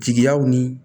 Jigiyaw ni